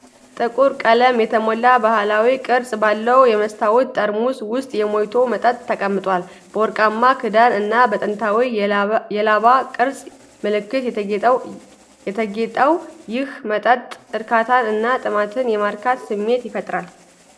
በጥቁር ቀለም የተሞላ፣ ባህላዊ ቅርጽ ባለው የመስታወት ጠርሙስ ውስጥ የቪምቶ መጠጥ ተቀምጧል። በወርቃማ ክዳን እና በጥንታዊ የላባ ቅርጽ ምልክት የተጌጠው ይህ መጠጥ እርካታን እና ጥማትን የማርካትን ስሜት ይፈጥራል።